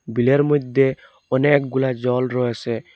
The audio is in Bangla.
বিলের মধ্যে অনেকগুলা জল রয়েসে।